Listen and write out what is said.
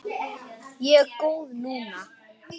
Ég er góð núna.